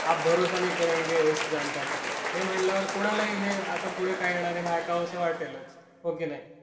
आप भरोसा नहीं करेंगे इस जानकारी पे, हे म्हटल्या वर कोणालाही हे आता पुढे काय येणार आहे हे ऐकावस वाटेलच. हो कि नाही?